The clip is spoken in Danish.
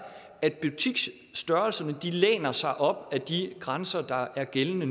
at butiksstørrelserne læner sig op ad de grænser der er gældende